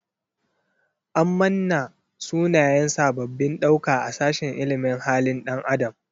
An manna sunayen sabbabin ɗauka a sashin ilimin halin ɗan adam.